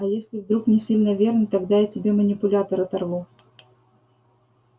а если вдруг не сильно верный тогда я тебе манипулятор оторву